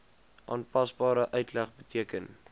aanpasbare uitleg beteken